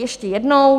Ještě jednou.